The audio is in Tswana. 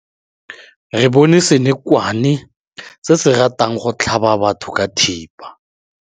Re bone senokwane se se ratang go tlhaba batho ka thipa.